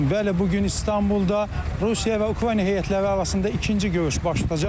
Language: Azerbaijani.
Bəli, bu gün İstanbulda Rusiya və Ukrayna heyətləri arasında ikinci görüş baş tutacaq.